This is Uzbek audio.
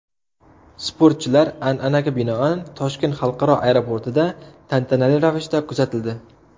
Sportchilar, an’anaga binoan, Toshkent xalqaro aeroportida tantanali ravishda kuzatildi.